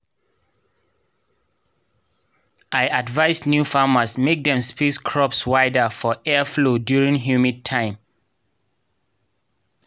i advise new farmers mek dem space crops wider for airflow during humid time